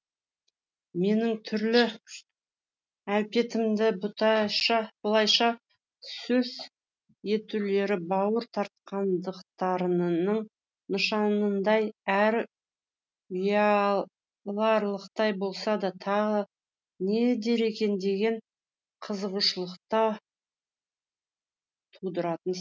менің түрлі әлпетімді бұлайша сөз етулері бауыр тартқандықтарының нышанындай әрі ұяларлықтай болса да тағы не дер екен деген қызығушылық та тудыратын